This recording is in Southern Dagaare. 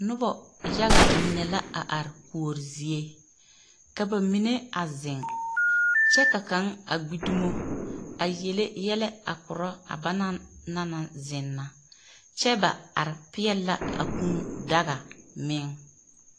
Noba yaga mine la a are kuori zie. Ka ba mine a zeŋe kyԑ ka kaŋ a gbi dumo a yele yԑlԑ a korͻ a banaŋ na naŋ zeŋ na kyԑ ba are peԑle la a kũũ daga meŋ.